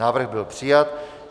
Návrh byl přijat.